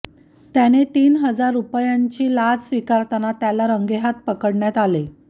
त्याने तीन हजार रूपयांची लाच स्विकारताना त्याला रंगेहात पकडण्यात आले